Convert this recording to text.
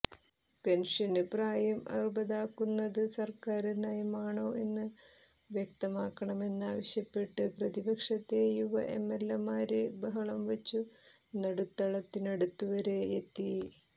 pension പ്രായം അറുപതാക്കുന്നത് സര്ക്കാര് നയമാണോയെന്ന് വ്യക്തമാക്കണമെന്നാവശ്യപ്പെട്ട് പ്രതിപക്ഷത്തെ യുവ എംഎല്എമാര് ബഹളംവച്ചു നടുത്തളത്തിനടുത്തുവരെയെത്തി